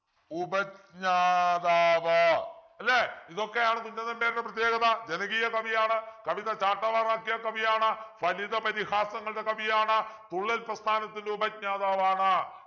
ഉപജ്ഞാതാവ് അല്ലെ ഇതൊക്കെയാണ് കുഞ്ചൻ നമ്പ്യാരുടെ പ്രത്യേകത ജനകീയ കവിയാണ് കവിത ചാട്ടവാറാക്കിയ കവിയാണ് ഫലിത പരിഹാസങ്ങളുടെ കവിയാണ് തുള്ളൽ പ്രസ്ഥാനത്തിൻ്റെ ഉപജ്ഞാതാവാണ്‌